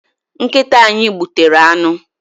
Nkịta anyị gbutere anụ.